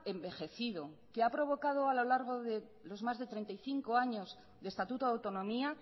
envejecido que ha provocado a lo largo de los más de treinta y cinco años de estatuto de autonomía